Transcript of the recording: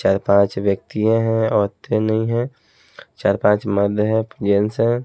चार पांच व्यक्ति हैं औरतें नहीं हैं चार पांच मर्द हैं जेंट्स हैं।